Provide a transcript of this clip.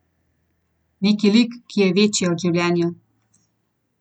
Neki lik, ki je večji od življenja.